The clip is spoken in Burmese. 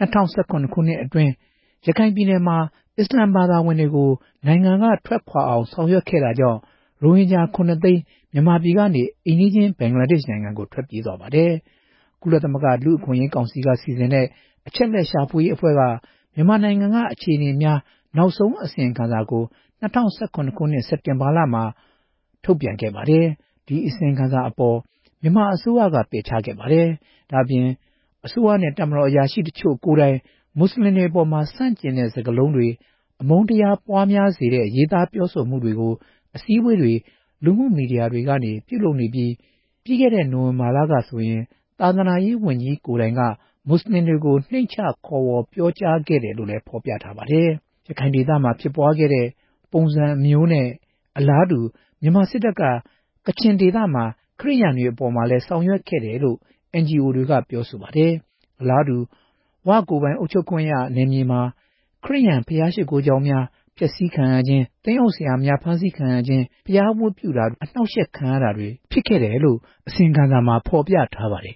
၂ဝ၁၇ခုနှစ် အတွင်း ရခိုင်ပြည်နယ်မှာ အစ္စလာမ်ဘာသာဝင်တွေကို နိုင်ငံက ထွက်ခွာ သွားအောင်ဆောင်ရွက်ခဲ့တာကြောင့် ရိုဟင်ဂျာ ခုနှစ်သိန်း မြန်မာပြည်ကနေ အိမ်နီးချင်း ဘင်္ဂလာဒေ့ရ်ှနိုင်ငံဘက်ကို ထွက်ပြေးသွားပါတယ်။ ကုလသမဂ္ဂလူ့အခွင့်အရေးကောင်စီက စီစဉ်တဲ့ အချက်အလက်ရှာဖွေရေးအဖွဲ့က မြန်မာနိုင်ငံက အခြေအနေများ နောက်ဆုံးအစီရင်ခံစာကို ၂ဝ၁၇ စက်တင်ဘာလမှာ ထုတ်ပြန်ခဲ့ပါတယ်။ ဒီအစီရင်ခံစာအပေါ် မြန်မာအစိုးရက ပယ်ချခဲ့ပါတယ်။ ဒါ့အပြင် အစိုးရနဲ့ တပ်မတော် အရာရှိတချို့ကိုယ်တိုင်က မွတ်စလင်တွေအပေါ် ဆန့်ကျင်တဲ့ စကားတွေ အမုန်းတရားပွားများစေတဲ့ ရေးသားပြောဆိုမှုတွေကို အစည်းအဝေးတွေ လူမှုမီဒီယာတွေကနေ ပြုလုပ်နေပြီး၊ ပြီးခဲ့တဲ့ နိုဝင်ဘာလကဆိုရင် သာသနာရေးဝန်ကြီးကိုယ်တိုင်က မွတ်စလင်တွေကို နှိမ့်ချခေါ်ဝေါ်ပြောကြားခဲ့တယ်လို့လည်း ဖော်ပြထားပါတယ်။ ရခိုင်ဒေသမှာ ဖြစ်ပွားခဲ့တဲ့ ပုံစံမျိုးနဲ့ အလားတူ မြန်မာစစ်တပ်က ကချင်ဒေသက ခရစ်ယာန်တွေ အပေါ်မှာလည်း ဆောင်ရွက်ခဲ့တယ်လို့ NGO တွေက ပြောဆိုပါတယ်။ အလားတူ ဝ ကိုယ်ပိုင် အုပ်ချုပ်ခွင့်ရနယ်မြေမှာ ခရစ်ယာန်ဘုရားရှစ်ခိုးကျောင်းတွေ အဖျက်ဆီးခံရခြင်း၊ သင်းအုပ်ဆရာများ ဖမ်းဆီးခံရခြင်း၊ ဘုရားဝတ်ပြုတာတွေ အနှောင့်ယှက်ခံရခြင်းတွေဖြစ်ခဲ့တယ်လို့ အစီရင်ခံစာမှာ ဖော်ပြထားပါတယ်